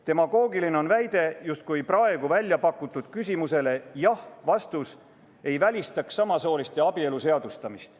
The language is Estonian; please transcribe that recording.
Demagoogiline on väide, justkui jah‑vastus praegu pakutud küsimusele ei välistaks samasooliste abielu seadustamist.